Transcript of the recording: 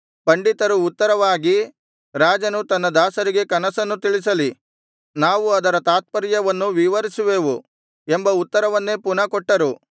ಪಂಡಿತರು ಉತ್ತರವಾಗಿ ರಾಜನು ತನ್ನ ದಾಸರಿಗೆ ಕನಸನ್ನು ತಿಳಿಸಲಿ ನಾವು ಅದರ ತಾತ್ಪರ್ಯವನ್ನು ವಿವರಿಸುವೆವು ಎಂಬ ಉತ್ತರವನ್ನೇ ಪುನಃ ಕೊಟ್ಟರು